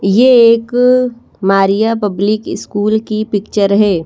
ये एक Maria public school की पिक्चर है।